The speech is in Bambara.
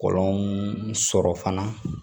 Kɔlɔn sɔrɔ fana